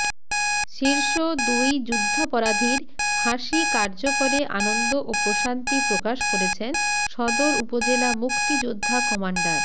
শীর্ষ দুই যুদ্ধাপরাধীর ফাঁসি কার্যকরে আনন্দ ও প্রশান্তি প্রকাশ করেছেন সদর উপজেলা মুক্তিযোদ্ধা কমান্ডার